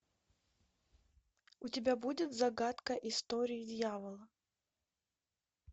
у тебя будет загадка истории дьявола